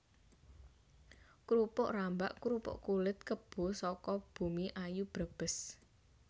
Krupuk rambak krupuk kulit kebo saka Bumiayu Brebes